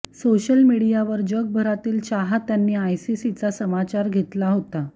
social मीडियावर जगभरातील चाहत्यांनी आयसीसीचा समाचार घेतला होता